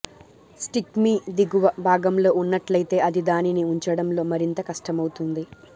stick మీ దిగువ భాగంలో ఉన్నట్లయితే అది దానిని ఉంచడంలో మరింత కష్టమవుతుంది